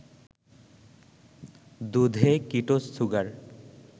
দুধে ketose sugar